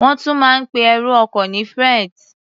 Wọ́n tún máa ń pe ẹrù ọkọ ní freight.